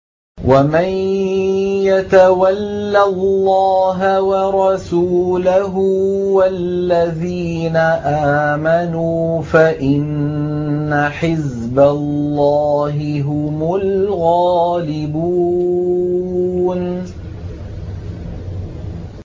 وَمَن يَتَوَلَّ اللَّهَ وَرَسُولَهُ وَالَّذِينَ آمَنُوا فَإِنَّ حِزْبَ اللَّهِ هُمُ الْغَالِبُونَ